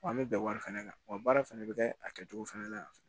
Wa an bɛ bɛn wari fɛnɛ kan wa baara fana bɛ kɛ a kɛcogo fana la yan fɛnɛ